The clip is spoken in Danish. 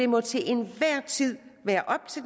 må til enhver tid være op til